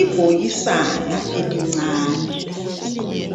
Ibhokisana elincane